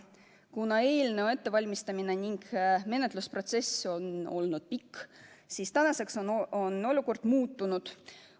Kuna eelnõu ettevalmistamine ning menetlusprotsess on olnud pikk, siis tänaseks on olukord muutunud.